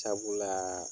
Sabula